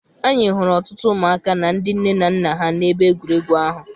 Anyị hụrụ ọtụtụ ụmụaka na ndị nne na nna ha n'ebe egwuregwu ahụ.